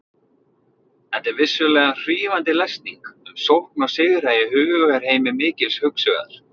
Þetta er vissulega hrífandi lesning um sókn og sigra í hugarheimi mikils hugsuðar.